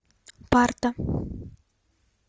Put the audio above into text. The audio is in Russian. парта